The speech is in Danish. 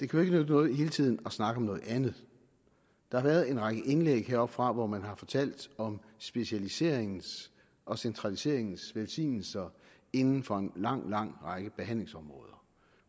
kan nytte noget hele tiden at snakke om noget andet der har været en række indlæg heroppefra hvor man har fortalt om specialiseringens og centraliseringens velsignelser inden for en lang lang række behandlingsområder